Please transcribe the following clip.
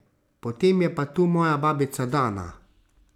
Potem je pa tu moja babica Dana.